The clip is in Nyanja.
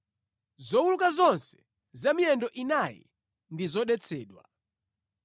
“ ‘Zowuluka zonse za miyendo inayi ndi zodetsedwa.